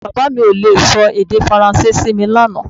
Bàbá mi ò le sọ èdè Faransé sí mi lánàá